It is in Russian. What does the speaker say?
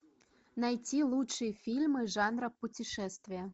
найти лучшие фильмы жанра путешествия